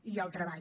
i el treball